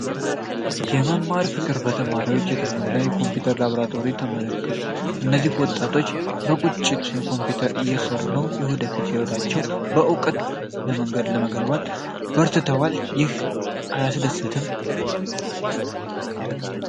የመማር ፍቅር! በተማሪዎች የተሞላው የኮምፒውተር ላብራቶሪ ተመልከት! እነዚህ ወጣቶች በቁጭት በኮምፒውተር እየሠሩ ነው፤ የወደፊት ሕይወታቸውን በዕውቀት ለመገንባት በርትተዋል! ይህ አያስደስትም።